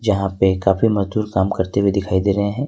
जहां पे काफी मजदूर काम करते हुए दिखाई दे रहे हैं।